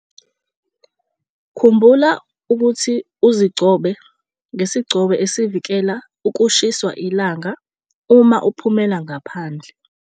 Khumbula ukuthi uzigcobe ngesigcobo esivikela ukushiswa ilanga uma ziphumela ngaphandle.